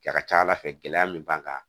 A ka ca ala fɛ gɛlɛya min b'an kan